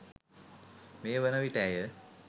මේවන විට ඇය